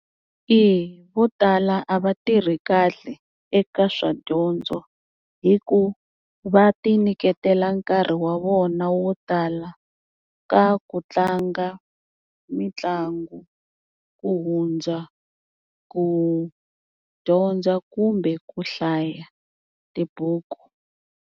Eya vo tala a va tirhi kahle eka swa dyondzo hi ku va ti nyiketela nkarhi wa vona wo tala ka ku tlanga mitlangu ku hundza ku dyondza kumbe ku hlaya tibuku.